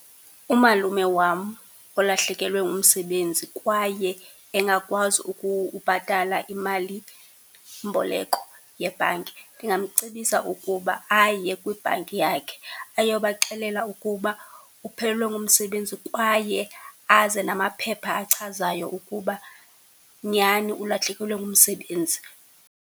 Umalume wam olahlekelwe ngumsebenzi kwaye engakwazi ubhatala imalimboleko yebhanki, ndingamcebisa ukuba aye kwibhanki yakhe, ayobaxelela ukuba uphelelwe ngumsebenzi kwaye aze namaphepha achazayo ukuba nyhani ulahlekelwe ngumsebenzi.